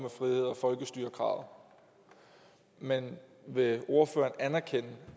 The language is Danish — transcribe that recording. folkestyre kravet men vil ordføreren anerkende